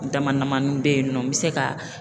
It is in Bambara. Dama damani bɛ yen nɔ n bɛ se ka